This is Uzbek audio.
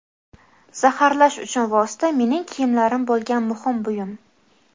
zaharlash uchun vosita mening kiyimlarim bo‘lgan – muhim buyum.